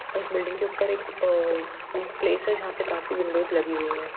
इस बिल्डिंग के ऊपर एक आ प्लेस है जहाँ पे काफी विन्डोस लगी हुई हैं।